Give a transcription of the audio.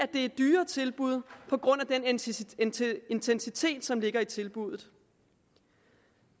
er dyrere tilbud på grund af den intensitet intensitet som ligger i tilbuddet